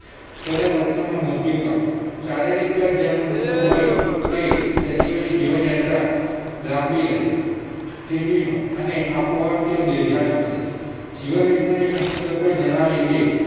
થોડા વર્ષોમાં મૃત્યુ પામે શારીરિક કાળ જેમનું મોટું હોય તે સજીવોની જીવનયાત્રા લાંબી રહે અને આપોઆપ તેઓ દીર્ઘાયુ બને જીવનવિજ્ઞાન સંશોધકોએ જણાવ્યું કે